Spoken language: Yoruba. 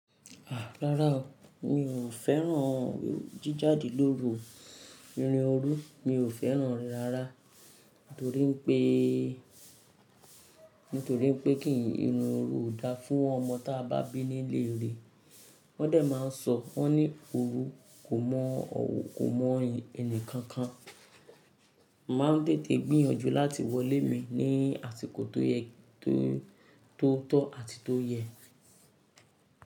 Rárá o, mi ò fẹ́ràn jíjáde lóru, irin oru mi ò fẹ́ràn rẹ̀ rárá nítorí pé, nítorí pé kí írin oru ò dáa fún ọmọ tí a bá bí nílé rẹ̀. Wọ́ndẹ̀ máa ń sọ, wọ́n ni oru kò mọ́ kò mọ ẹni kankan. Màá ń tètè gbìyànjú láti wọlé mi ní àsìkò tó yẹ, tó, tó tọ́ àti tó yẹ.